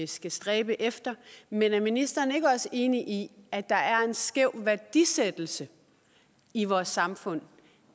skal stræbe efter men er ministeren ikke også enig i at der er en skæv værdisættelse i vores samfund